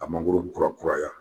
A mangoro kurakuraya